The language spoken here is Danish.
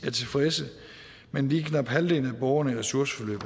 er tilfredse mens lige knap halvdelen af borgerne i ressourceforløb